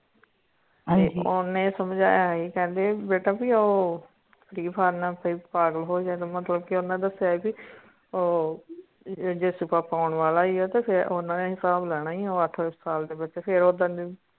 ਹਨਜੀ ਓਨੇ ਸੰਜਾਯਾ ਸੀ ਕਹਿੰਦੇ ਬੇਟਾ ਭੀ ਓ free fire ਨਾ ਪਗਾਲ ਹੋ ਜਾਣ ਮਤਲਬ ਕਿ ਓਨੇ ਦਸਿਆ ਭੀ ਓ ਹਿਸਾਬ ਲੈਣਾ ਆ ਅੱਠ ਅੱਠ ਸਾਲ ਦੇ ਬੱਚੇ ਫੇਰ